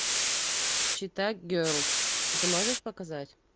чета герлз ты можешь показать